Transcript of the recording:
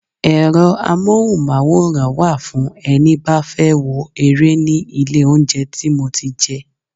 Ẹ̀rọ amohunmaworan wa fún ẹni bá fẹ́ wo ere ní ilé oúnjẹ tí mo ti jẹ.